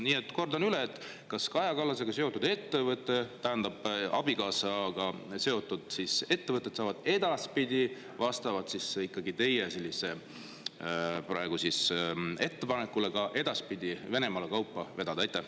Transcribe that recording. Nii et kordan üle: kas Kaja Kallase abikaasaga seotud ettevõtted saavad vastavalt teie sellisele ettepanekule ka edaspidi Venemaale kaupa vedada?